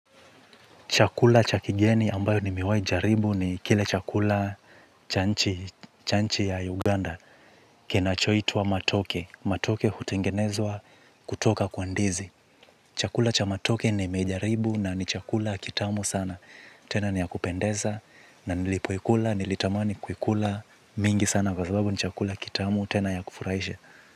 Chakula cha kigeni ambayo nimewai jaribu ni kile chakula cha nchi ya Uganda. Kinachoitwa matoke. Matoke hutengenezwa kutoka kwa ndizi. Chakula cha matoke nimejaribu na ni chakula kitamu sana. Tena ni ya kupendeza na nilipoikula, nilitamani kuikula mingi sana kwa sababu ni chakula kitamu, tena ya kufuraishi.